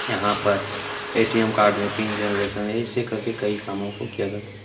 यहाँ पर ATM. Card में पिन जनरेशन ऐसे करके कई कामो को किया जाता है।